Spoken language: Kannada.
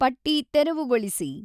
ಪಟ್ಟಿ ತೆರವುಗೊಳಿಸಿ